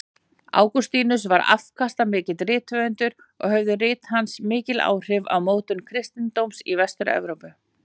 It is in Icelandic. Ágústínus var afkastamikill rithöfundur og höfðu rit hans mikil áhrif á mótun kristindómsins í Vestur-Evrópu.